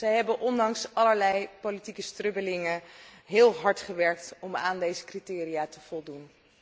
Zij hebben ondanks allerlei politieke strubbelingen heel hard gewerkt om aan deze criteria te voldoen.